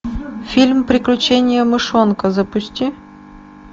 фильм приключение мышонка запусти